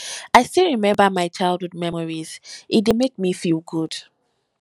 i still dey remember my childhood memories e dey make me feel good